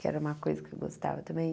Que era uma coisa que eu gostava também.